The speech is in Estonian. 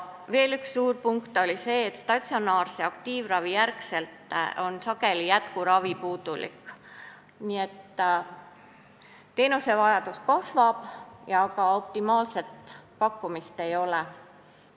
Veel üks suur punkt oli see, et jätkuravi pärast statsionaarset aktiivravi on sageli puudulik, nii et teenuse vajadus kasvab ja ka optimaalset pakkumist ei ole.